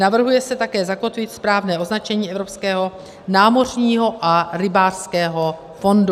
Navrhuje se také zakotvit správné označení Evropského námořního a rybářského fondu.